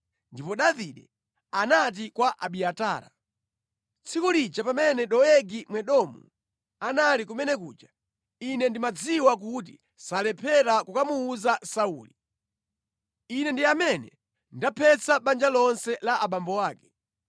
Ndipo Davide anati kwa Abiatara, “Tsiku lija pamene Doegi Mwedomu anali kumene kuja, ine ndimadziwa kuti salephera kukamuwuza Sauli. Ine ndi amene ndaphetsa banja lonse la abambo ako.